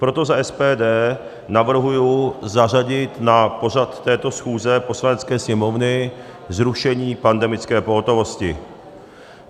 Proto za SPD navrhuji zařadit na pořad této schůze Poslanecké sněmovny zrušení pandemické pohotovosti.